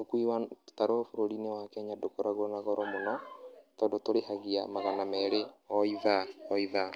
Ũkui wa tũtarũ bũrũri-inĩ wa Kenya ndũkoragwo na goro mũno tondũ tũrĩhagia magana merĩ o ithaa o ithaa.